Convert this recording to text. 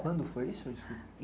foi isso?